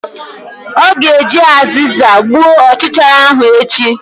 Ọ ga-eji azịza gbuo ọchichara ahụ echi!